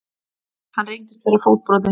Hann reyndist vera fótbrotinn